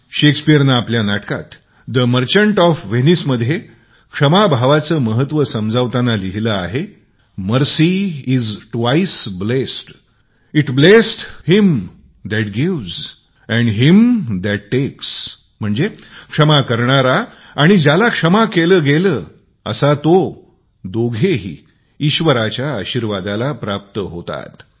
शेक्सपीयरने आपल्या नाटकात the merchant of Venice मध्ये क्षमा भावाचे महत्व समजावतांना लिहिले आहे mercy is twice blest it blesseth him that gives and him that takes म्हणजे क्षमा करणारा आणि ज्याला क्षमा केली गेली असा तो दोघेही ईश्वराच्या आशिर्वादाला प्राप्त होतात